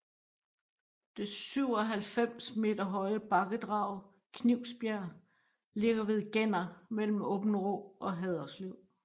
Det 97 meter høje bakkedrag Knivsbjerg ligger ved Genner mellem Aabenraa og Haderslev